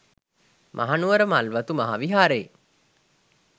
මහනුවර මල්වතු මහා විහාරයේ